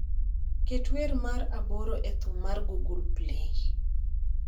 ket wer mar aboro e thum mar google play